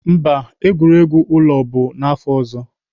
Mba, egwuregwu ụlọ bụ n'afọ ọzọ.